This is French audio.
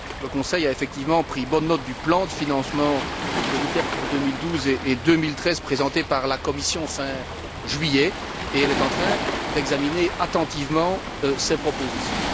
Le Conseil a effectivement pris bonne note du plan de financement de l'ITER pour 2012 et 2013, présenté par la Commission fin juillet, et il est en train d'examiner attentivement ces propositions.